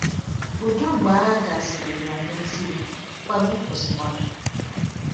Udo mgbe agha gasịrị bịara n’ezie, mkpagbu kwụsịkwara.